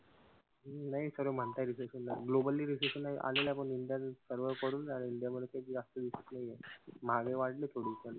नाई सर्व म्हणताय recession आलं. Globally recession आलेलं पण इंडिया सर्व इंडियामध्ये काई जास्त दिसत नाहीये. महागाई वाढली थोडी पण.